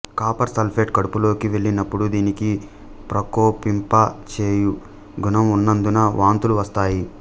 copper sulphate కడుపులోకి వెళ్ళినప్పుడు దీనికి ప్రకోపింప చెయ్యు గుణం ఉన్నందున వాంతులు వస్తాయి